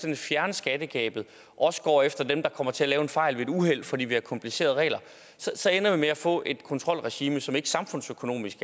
at fjerne skattegabet også går efter dem der kommer til at lave en fejl ved et uheld fordi vi har komplicerede regler så ender vi med at få et kontrolregime som samfundsøkonomisk